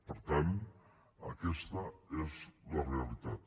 per tant aquesta és la realitat